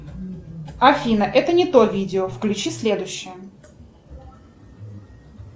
афина это не то видео включи следующее